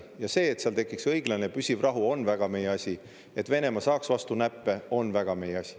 Ja see, et seal tekiks õiglane ja püsiv rahu, on väga meie asi, ja et Venemaa saaks vastu näppe, on väga meie asi.